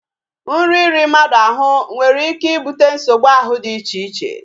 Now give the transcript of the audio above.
Nri iri mmadụ ahụ nwere ike ibute nsogbu ahụ dị icheche